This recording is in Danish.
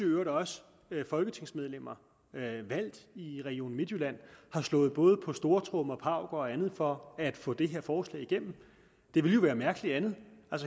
i øvrigt også folketingsmedlemmer valgt i region midtjylland har slået både på stortromme og pauke og andet for at få det her forslag igennem det ville jo være mærkeligt andet